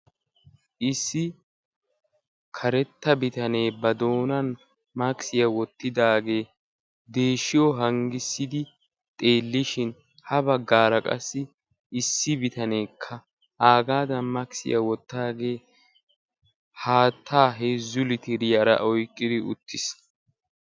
issi karetta bitanee ba doonan maskiyaa wottidaagee deeshiyo hanggissidi xeellishin ha baggaara qassi issi bitaneekka aagaadan maksiyaa wottaagee haattaa heezzu litiriyaara oyqqidi uttiis